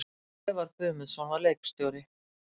Sævar Guðmundsson var leikstjóri.